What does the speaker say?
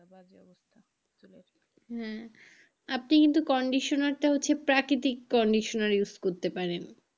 হ্যাঁ আপনি কিন্তু কন্ডিশনার টা হচ্ছে প্রাকৃতিক কন্ডিশনার use করতে পারেন।